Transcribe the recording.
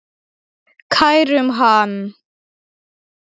Kærum hann.